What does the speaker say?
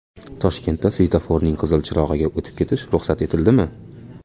Toshkentda svetoforning qizil chirog‘iga o‘tib ketish ruxsat etildimi?.